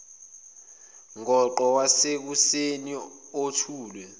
ngoqo wasekuseni othulwe